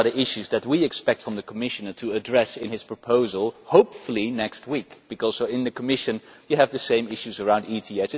These are the issues that we expect the Commissioner to address in his proposal and hopefully next week, because in the Commission you have the same issues around ETS.